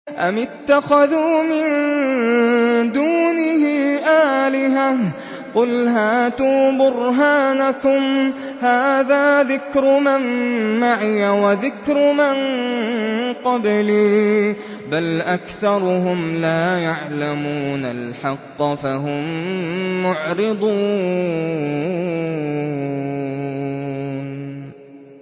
أَمِ اتَّخَذُوا مِن دُونِهِ آلِهَةً ۖ قُلْ هَاتُوا بُرْهَانَكُمْ ۖ هَٰذَا ذِكْرُ مَن مَّعِيَ وَذِكْرُ مَن قَبْلِي ۗ بَلْ أَكْثَرُهُمْ لَا يَعْلَمُونَ الْحَقَّ ۖ فَهُم مُّعْرِضُونَ